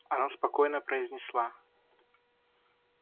она спокойно произнесла